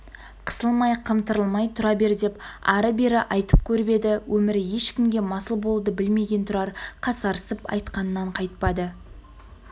қысылмай қымтырылмай тұра бер деп ары-бері айтып көріп еді өмірі ешкімге масыл болуды білмеген тұрар қасарысып айтқанынан қайтпады